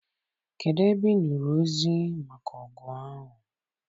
Kedụ ebe I nụrụ ozi maka ọgụ ahụ?